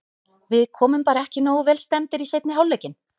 Við komum bara ekki nógu vel stemmdir í seinni hálfleikinn.